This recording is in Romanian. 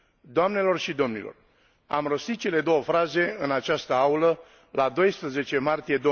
Doamnelor și domnilor, am rostit cele două fraze în această aulă la 12 martie